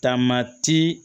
Taama ti